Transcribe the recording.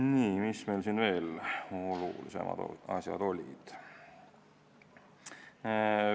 Nii, mis veel olulisemad asjad olid?